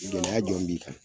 Bi gɛlɛya jɔn b'i kan?